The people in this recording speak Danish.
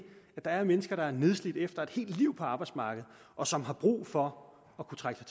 at der er mennesker der er nedslidte efter et helt liv på arbejdsmarkedet og som har brug for at kunne trække